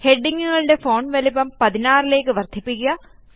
ഹെഡിംഗ്ങ്ങുകളുടെ font വലിപ്പം 16 ലേയ്ക്ക് വർദ്ധിപ്പിക്കുക